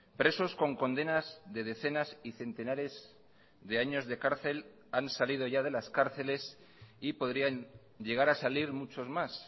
presos con condenas de decenas y centenares de años de cárcel han salido ya de las cárceles y podrían llegar a salir muchos más